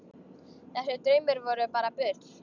Þessir draumar voru bara bull.